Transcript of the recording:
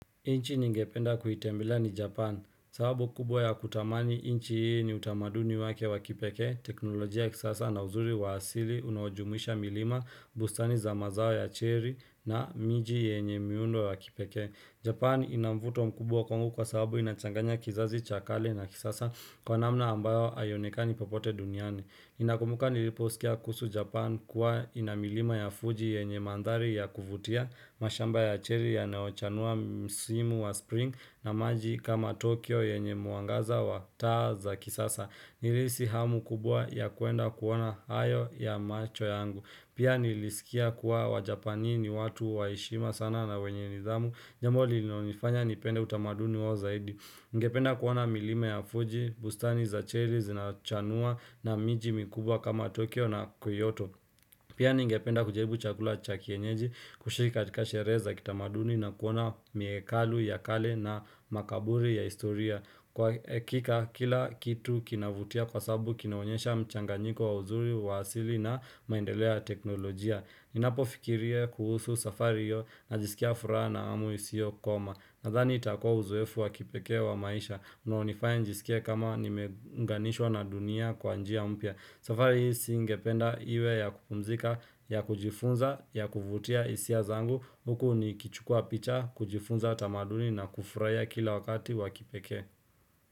Nchi ningependa kuitembela ni Japan, sababu kubwa ya kutamani nchi hii ni utamaduni wake wa kipekee, teknolojia ya kisasa na uzuri wa asili unawajumisha milima, bustani za mazao ya cherry na miji yenye miundo wa kipekee. Japan inamvuto mkubwa kwangu kwa sababu inachanganya kizazi cha kale na kisasa kwa namna ambayo haionekani popote duniani. Ninakumbuka niliposikia kuhusu Japan kuwa ina milima ya Fuji yenye mandhari ya kuvutia mashamba ya cherry yanayochanua msimu wa spring na maji kama Tokyo yenye mwangaza wa taa za kisasa Nilihisi hamu kubwa ya kuenda kuoana hayo na macho yangu Pia nilisikia kuwa wa Japani watu wa heshima sana na wenye nidhamu Jambo lilinonifanya nipende utamaduni wa zaidi Nigependa kuona milima ya Fuji, bustani za Chery, zinachanua na miji mikubwa kama Tokyo na Kyoto. Pia ni ngependa kujaribu chakula cha kienyeji kushiki katika sherehe za kitamaduni na kuona miekalu ya kale na makaburi ya historia. Kwa hakika kila kitu kinavutia kwasabu kinaonyesha mchanganyiko wa uzuri wa asili na maendeleo ya teknolojia. Ninapo fikiria kuhusu safari hiyo na jisikia furaha na hamu isiokoma Nadhani itakua uzoefu wa kipeke wa maisha Unaonifaya nijisikie kama nimeuganishwa na dunia kwa njia mpya safari hii siingependa iwe ya kupumzika, ya kujifunza, ya kuvutia hisia zangu Huku ni kichukua picha, kujifunza tamaduni na kufuhia kila wakati wakipekee.